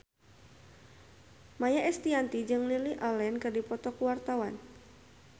Maia Estianty jeung Lily Allen keur dipoto ku wartawan